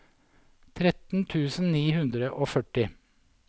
tretten tusen ni hundre og førti